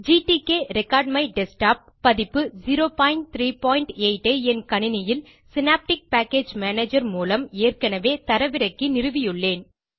gtk record my desktop பதிப்பு 038 ஐ என் கணினியில் சினாப்டிக் பேக்கேஜ் மேனேஜர் மூலம் ஏற்கனவே தரவிறக்கி நிறுவியுள்ளேன்